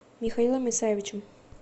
михаилом исаевичем